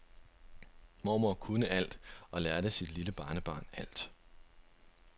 Mormor kunne alt og lærte sit lille barnebarn alt.